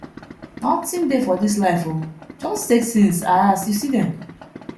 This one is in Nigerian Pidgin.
nothing dey for dis life oo just take things as you see dem